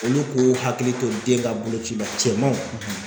Olu k'u hakili to den ka boloci la cɛmanw